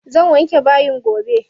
Zan wanke bayi gobe.